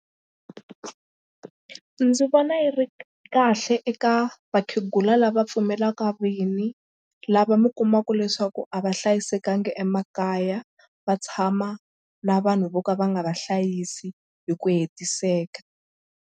Ndzi vona yi ri kahle eka vakhegula lava pfumelaka vinyi lava mi kumaka leswaku a va hlayisekanga emakaya va tshama na vanhu vo ka va nga vahlayisi hi ku hetiseka.